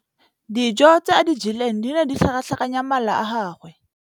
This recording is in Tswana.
Dijô tse a di jeleng di ne di tlhakatlhakanya mala a gagwe.